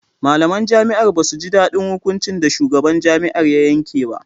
Malaman jami'ar ba su ji daɗin hukunci da shugaban jami'ar ya yanke ba